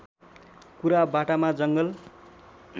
कुरा बाटामा जङ्गल